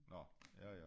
Nå ja ja